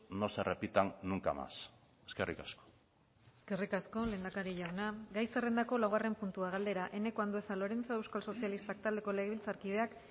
no se repitan nunca más eskerrik asko eskerrik asko lehendakari jauna gai zerrendako laugarren puntua galdera eneko andueza lorenzo euskal sozialistak taldeko legebiltzarkideak